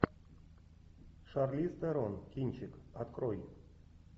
шарлиз терон кинчик открой